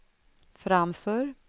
framför